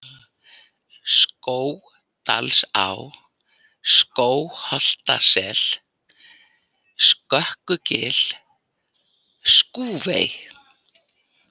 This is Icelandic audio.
Skógdalsá, Skógholtasel, Skökkugil, Skúfey